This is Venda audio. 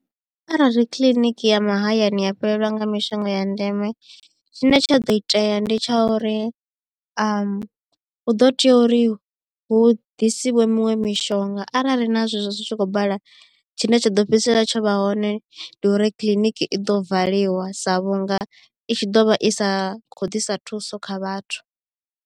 Arali kiḽiniki ya mahayani ya fhelelwa nga mishonga ya ndeme tshine tsha ḓo itea ndi tsha uri hu ḓo tea uri hu ḓisiwe miṅwe mi mushonga arali na zwezwo zwi tshi khou bala tshine tsha ḓo fhedzisela tsho vha hone ndi uri kiḽiniki i ḓo valiwa sa vhunga i tshi ḓo vha i sa khou ḓisa thuso kha vhathu.